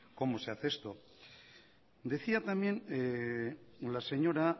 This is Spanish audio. cómo se hace esto decía también la señora